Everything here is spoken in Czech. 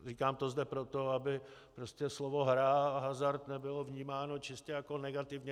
Říkám to zde proto, aby prostě slovo hra a hazard nebylo vnímáno čistě jako negativní.